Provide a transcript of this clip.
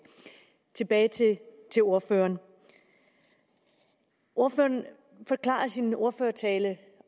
tilbage til til ordføreren ordføreren forklarede i sin ordførertale